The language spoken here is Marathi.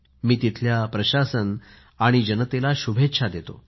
मी तिथल्या प्रशासन आणि जनतेला शुभेच्छा देतो